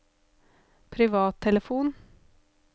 privattelefon